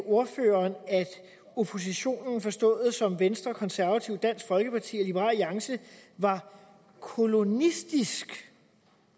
ordføreren at oppositionen forstået som venstre konservative dansk folkeparti og liberal alliance var kolonistisk